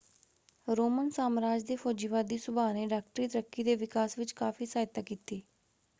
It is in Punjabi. ਰੋਮਨ ਸਾਮਰਾਜ ਦੇ ਫੌਜੀਵਾਦੀ ਸੁਭਾਅ ਨੇ ਡਾਕਟਰੀ ਤਰੱਕੀ ਦੇ ਵਿਕਾਸ ਵਿੱਚ ਕਾਫ਼ੀ ਸਹਾਇਤਾ ਕੀਤੀ।